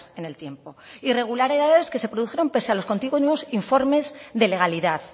en el tiempo irregularidades que se produjeron pese a los continuos informes de legalidad